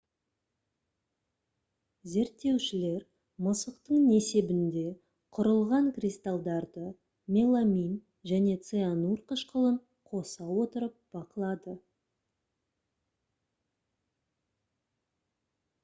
зерттеушілер мысықтың несебінде құрылған кристалдарды меламин және цианур қышқылын қоса отырып бақылады